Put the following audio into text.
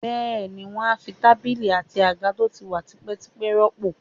Bẹ́ẹ̀ ni, wọ́n á fi tábìlì àti àga tó ti wà tipẹ́tipẹ́ rọ́pò